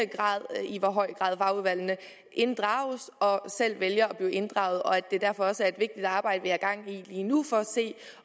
i hvor høj grad fagudvalgene inddrages og selv vælger at blive inddraget og at det derfor også er et vigtigt arbejde vi har gang i lige nu for at se